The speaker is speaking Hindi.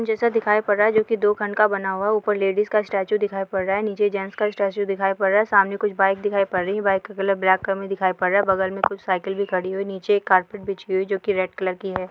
जैसे दिखाई पड़ रहा है जो की दो खंड का बना हुआ है ऊपर लेडिज का स्टेचू दिखाई पड़ रहा है | नीचे जेन्ट्स का स्टेचू दिखाई पड़ रहा है सामने कुछ बाइक दिखाई पड़ रही है बाइक का कलर ब्लैक कलर मे दिखाई पड़ रहा है बगल में कुछ साइकिल भी खड़ी है नीचे एक कार्पेट भी बिछी हुई है जो कि रेड कलर की है।